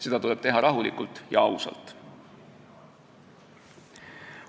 Seda tuleb teha rahulikult ja ausalt.